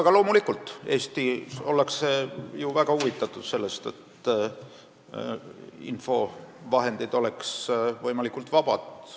Aga loomulikult ollakse Eestis väga huvitatud sellest, et infovahendid oleks võimalikult vabad.